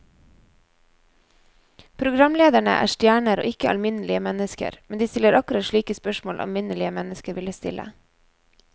Programlederne er stjerner og ikke alminnelige mennesker, men de stiller akkurat slike spørsmål alminnelige mennesker ville stille.